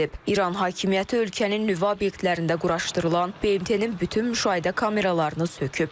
İran hakimiyyəti ölkənin nüvə obyektlərində quraşdırılan BMT-nin bütün müşahidə kameralarını söküb.